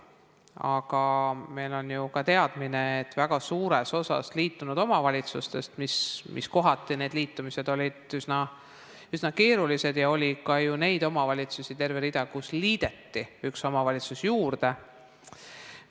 Aga meil on ju ka see teadmine, et väga suures osas olid liitunud omavalitsustes need liitumised üsna keerulised ja oli ka ju neid omavalitsusi terve rida, millele liideti üks omavalitsus juurde.